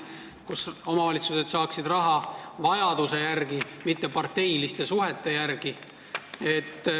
Tasandusfondist saavad omavalitsused raha vajaduse järgi, mitte parteiliste suhete järgi.